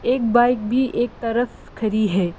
एक बाइक भी एक तरफ खड़ी है।